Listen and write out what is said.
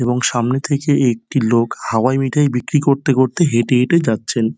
এবং সামনে থেকে একটি লোক হাওয়াই মিঠাই বিক্রি করতে করতে হেঁটে হেঁটে যাচ্ছেন।